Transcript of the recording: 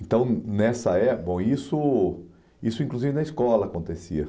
Então, nessa épo, bom, isso isso inclusive na escola acontecia.